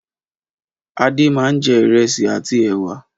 Adé máa jẹ ìrẹsì àti ẹ̀wà.